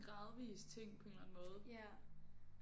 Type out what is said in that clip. Gradvis ting på en eller anden måde